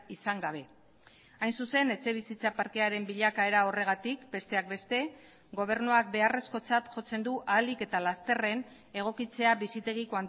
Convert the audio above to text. izan gabe hain zuzen etxebizitza parkearen bilakaera horregatik besteak beste gobernuak beharrezkotzat jotzen du ahalik eta lasterren egokitzea bizitegi